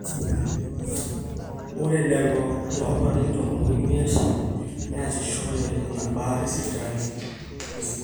ore lelo loolarin tomon oimiet neasishore ina baata esipitali esidai